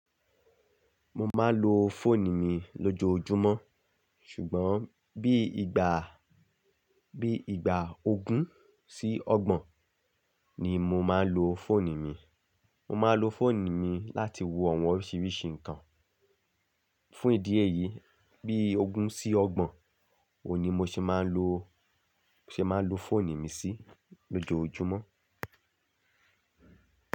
Mo máa ń lo fóòni mi lójoojúmọ́, ṣùgbọ́n bí ìgbà, bí ìgbà ogún sí ọgbọ̀n ni mo máa ń lo fóòni mi. Mo máa ń lo fóònù mi láti wo àwọn oríṣiríṣi nǹkan. Fún ìdí èyí, bí ogún sí ọgbọ̀n òní mo ṣe máa ń lo, ṣe máa ń lo fóònù mi sí lójoojúmọ́.